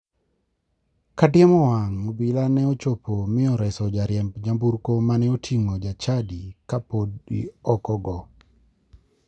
Kadiemo wang' obila ne ochopo mi oreso jariemb nyamburko mane oting'o jachadi kapodi ok ogo.